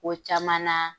Ko caman na